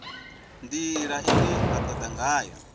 ndila ine vha toda ngayo